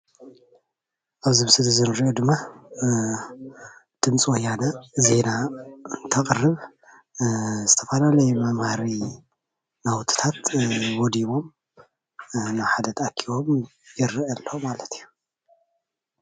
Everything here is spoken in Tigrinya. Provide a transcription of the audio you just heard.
ኣብ እዚ ምስሊ ዝረአ ድማ ድምፂ ወያነ ዜና ተቅርብ ዝተፈላለዩ መምሃሪ ናውትታት ወዲሙ ናብ ሓደ ተኣኮቦም ይረአ ኣሎ ማለት እዩ፡፡